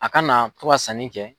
A kana na to ka sanni kɛ.